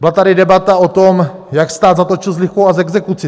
Byla tady debata o tom, jak stát zatočil s lichvou a s exekucí.